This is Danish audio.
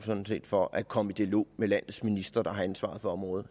for at komme i dialog med landets minister der har ansvaret for området